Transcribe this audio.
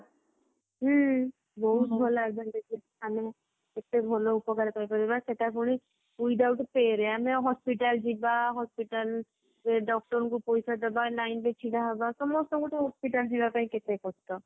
ହୁଁ ବହୁତ ଭଲ advantages ଆମେ କେତେ ଭଲ ଉପକାର କରିପାରିବ ସେଇଟା ପୁଣି without pay ରେ ଆମେ hospital ଯିବା hospital ରେ doctor ଙ୍କୁ ପଇସା ଦେବା line ରେ ଛିଡାହେବା ସମସ୍ତଙ୍କୁ ଗୋଟେ hospital ଯିବାପାଇଁ କେତେ କଷ୍ଟ